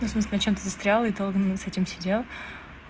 ну в смысле над чем-то и долго с этим сидел